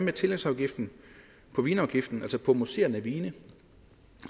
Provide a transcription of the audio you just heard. er tillægsafgiften på vinafgiften altså på mousserende vin